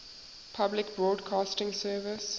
public broadcasting service